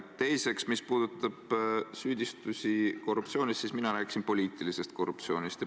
Teiseks, mis puudutab süüdistusi korruptsioonis, siis ma rääkisin poliitilisest korruptsioonist.